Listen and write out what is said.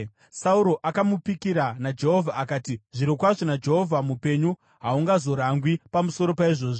Sauro akamupikira naJehovha akati, “Zvirokwazvo naJehovha mupenyu, haungazorangwi pamusoro paizvozvi.”